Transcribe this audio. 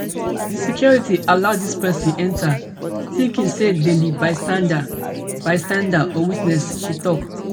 di security allow dis pesin enta tinking say dem be bystander bystander or witness she tok